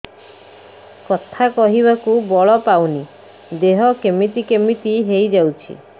କଥା କହିବାକୁ ବଳ ପାଉନି ଦେହ କେମିତି କେମିତି ହେଇଯାଉଛି